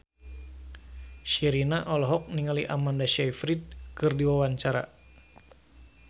Sherina olohok ningali Amanda Sayfried keur diwawancara